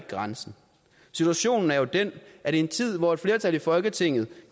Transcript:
grænsen situationen er jo den at i en tid hvor et flertal i folketinget